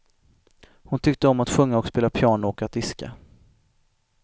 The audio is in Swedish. Hon tyckte om att sjunga och spela piano och att diska.